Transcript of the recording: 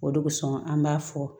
O de kosɔn an b'a fɔ